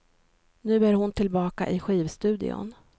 Nu är hon tillbaka i skivstudion.